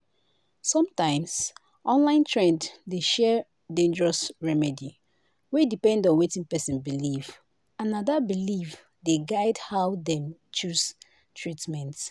sometimes online trend dey share dangerous remedy wey depend on wetin person believe and na that belief dey guide how dem choose treatment."